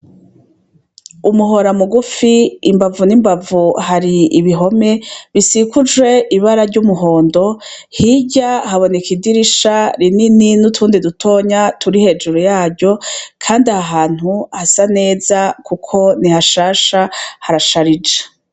Umuhora mugufi imbavu n'imbavu, hari ibihome bisiguje ibara ry'umuhondo hirya haboneka idirisha rinini nutundi dutoya turi hejuru yaryo ,kandi ahantu hasa neza kuko nihashasha harasharije.